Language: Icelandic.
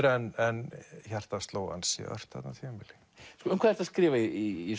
en hjartað sló ansi ört þarna á tímabili um hvað ertu að skrifa í